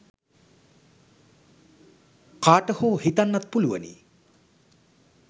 කාට හෝ හිතන්නත් පුළුවනි.